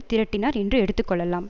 திரட்டினார் என்று எடுத்துக்கொள்ளலாம்